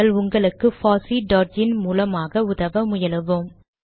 நாங்கள் உங்களுக்கு பாசி டாட் இன் மூலமாக உதவ முயலுவோம்